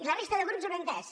i la resta de grups ho han entès